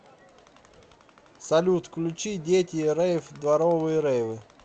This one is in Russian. салют включи дети рэйв дворовые рейвы